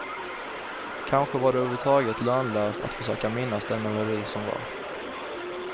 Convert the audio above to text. Kanske var det överhuvudtaget lönlöst att försöka minnas den melodi som var.